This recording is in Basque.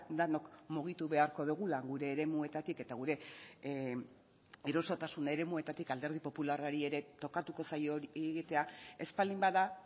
denok mugitu beharko dugula gure eremuetatik eta gure erosotasun eremuetatik alderdi popularrari ere tokatuko zaio hori egitea ez baldin bada